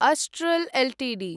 Astral Ltd